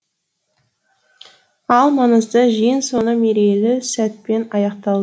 ал маңызды жиын соңы мерейлі сәтпен аяқтал